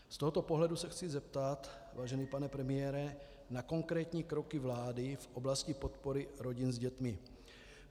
Z tohoto pohledu se chci zeptat, vážený pane premiére, na konkrétní kroky vlády v oblasti podpory rodin s dětmi.